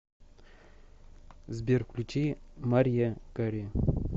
сбер включи марья кари